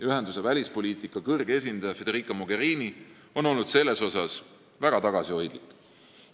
Ühenduse välispoliitika kõrge esindaja Federica Mogherini on selle koha pealt väga tagasihoidlik olnud.